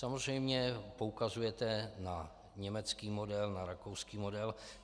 Samozřejmě poukazujete na německý model, na rakouský model.